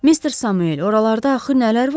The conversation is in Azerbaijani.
Mister Samuel, oralarda axı nələr var?